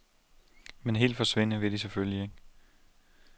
Men helt forsvinde vil de selvfølgelig ikke.